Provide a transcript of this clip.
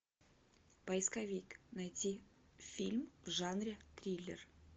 поисковик найти фильм в жанре триллер